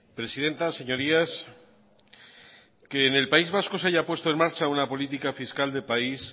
presidenta señorías que en el país vasco se haya puesto en marcha una política fiscal de país